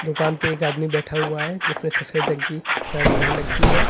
दुकान पे एक आदमी बैठा हुआ है जिसने सफेद रंग की शर्ट पहन रखी है।